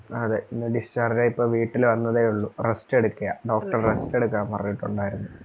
അതെ ഇന്ന് discharge ആയി ഇപ്പൊ വീട്ടിൽ വന്നതേ ഉള്ളു rest എടുക്കുവാ, doctor rest എടക്കാൻ പറഞ്ഞിട്ടുണ്ടായിരുന്നു